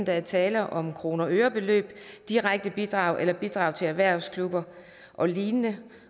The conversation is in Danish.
der er tale om kronebeløb direkte bidrag eller bidrag til erhvervsklubber og lignende